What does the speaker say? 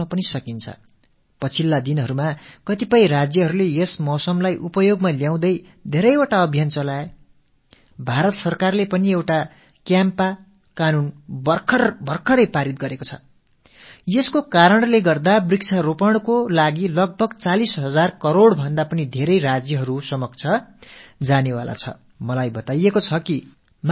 கடந்த சில நாட்களாக பல மாநிலங்கள் இந்த பருவநிலையை சாதகமாகப் பயன்படுத்திக் கொண்டு பல இயக்கங்களை நடத்தி வந்தார்கள் பாரத அரசும் காம்பா என்றதொரு சட்டத்தை இப்போது இயற்றியிருக்கிறது இதன்படி மரம் நடுவதற்கென்றே சுமார் 40000 கோடி ரூபாய்க்கும் அதிக தொகை மாநிலங்களுக்கு அளிக்கப்பட இருக்கிறது